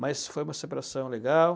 Mas foi uma separação legal.